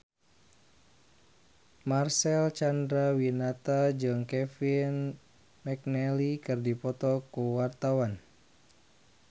Marcel Chandrawinata jeung Kevin McNally keur dipoto ku wartawan